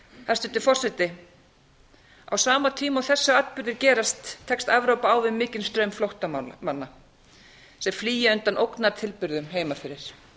hæstvirtur forseti á sama tíma og þessir atburðir gerast tekst evrópa á við mikinn straum flóttamanna þeir flýja undan ógnartilburðum heima fyrir